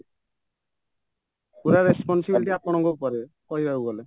ପୁରା responsibility ଆପଣଙ୍କ ଉପରେ କହିବାକୁ ଗଲେ